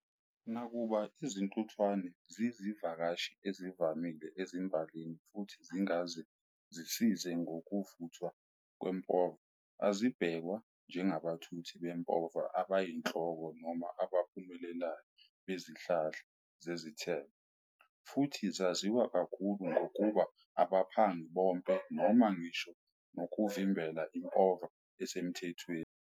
Nakuba izintuthwane zizivakashi ezivamile ezimbalini, futhi zingaze zisize ngokuvuthwa kwempova, azibhekwa njengabathuthi bempova abayihloko noma abaphumelelayo bezihlahla zezithelo. Futhi zaziwa kakhulu ngokuba abaphangi bonke, noma ngisho nokuvimbela impova esemthethweni.